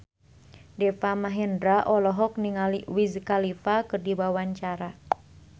Deva Mahendra olohok ningali Wiz Khalifa keur diwawancara